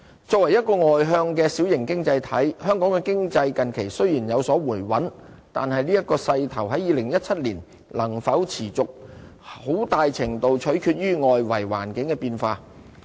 作為一個外向的小型經濟體，香港經濟近期雖然有所回穩，但這勢頭在2017年能否持續，很大程度取決於外圍環境的變化。